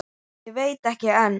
Og veit ekki enn!